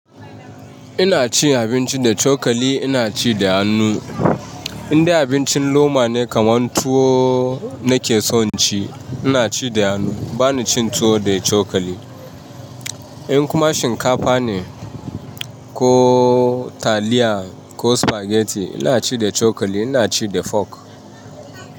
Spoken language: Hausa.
Ina cin abinci da cokali, ina ci da hannu. Indai abincin loma ne kamar tuwo nake son ci, ina ci da hannu. Bani cin tuwo da cokali. In kuma shinkafa ne, ko taliya ko spaghetti ina ci da cokali, ina ci da fork.